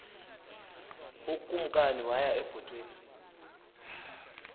ukumkani waya ebhotweni